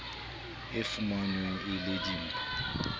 e fumanweng e le dimpho